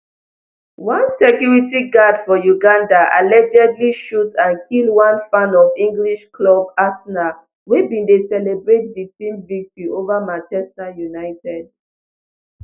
one security guard for uganda allegedly shoot and kill one fan of english club arsenal wey bin dey celebrate di team victory ova manchester united